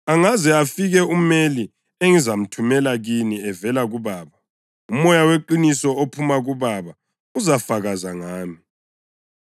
“Angaze afike uMeli engizamthumela kini evela kuBaba, uMoya weqiniso ophuma kuBaba, uzafakaza ngami;